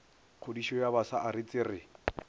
kgodišo ya bafsa aretse re